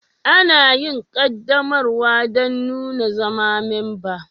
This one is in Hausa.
Ana yin ƙaddamarwa don nuna zama memba.